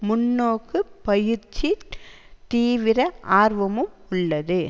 முன்னோக்கு பயிற்றித் தீவிர ஆர்வமும் உள்ளது